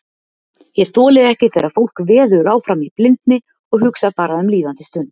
Ég þoli ekki þegar fólk veður áfram í blindni og hugsar bara um líðandi stund.